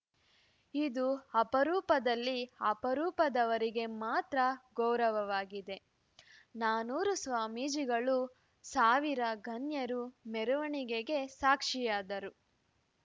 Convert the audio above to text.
ಇದು ಅಪರೂಪದಲ್ಲಿ ಅಪರೂಪದವರಿಗೆ ಮಾತ್ರ ಗೌರವವಾಗಿದೆ ನಾನೂರು ಸ್ವಾಮೀಜಿಗಳು ಸಾವಿರ ಗಣ್ಯರು ಮೆರವಣಿಗೆಗೆ ಸಾಕ್ಷಿಯಾದರು